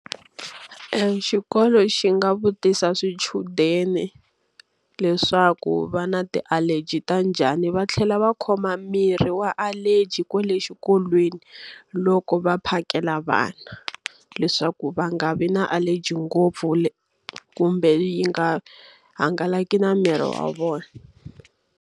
Xikolo xi nga vutisa swichudeni leswaku va na ti-allergy ta njhani va tlhela va khoma mirhi wa allergy kwale xikolweni loko va phakela vana. Leswaku va nga vi na allergy ngopfu kumbe yi nga hangalaki na miri wa vona.